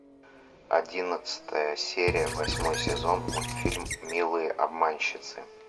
одиннадцатая серия восьмой сезон мультфильм милые обманщицы